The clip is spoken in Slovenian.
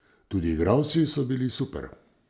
Tudi igralci so bili super.